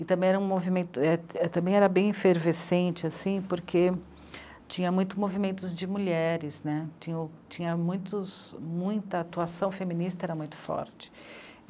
E também era um movimento, era, era bem efervescente, porque tinha muito movimentos de mulheres né, tinha, tinha muitos, muita atuação feminista, era muito forte.